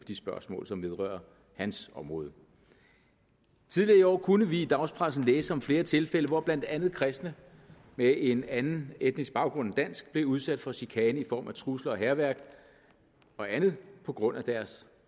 de spørgsmål som vedrører hans område tidligere i år kunne vi i dagspressen læse om flere tilfælde hvor blandt andet kristne med en anden etnisk baggrund end dansk blev udsat for chikane i form af trusler og hærværk og andet på grund af deres